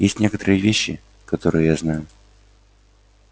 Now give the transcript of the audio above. есть некоторые вещи которые я знаю